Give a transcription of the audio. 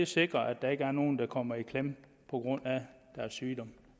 sikrer at der ikke er nogen der kommer i klemme på grund af deres sygdom